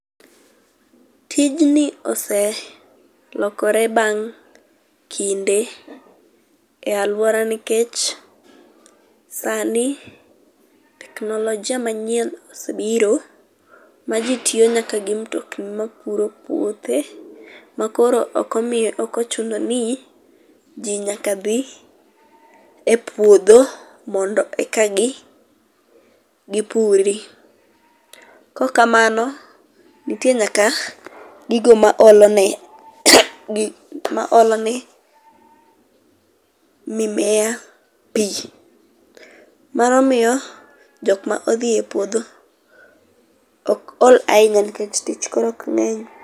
Tijni oselokore bang kinde e aluora nikech sani teknolojia manyien osebiro ma jii tiyo nyaka gi mtokni mapuro puothe makonro ok omiyo, ok ochuno ni jii nyaka dhi e puodho mondo eka gipuri. Kaok kamano nitie nyaka gigo maolone, maolone mimea pii, mano miyo jokma odhie puodho ok ol ahinya nikeh tich koro ok ngeny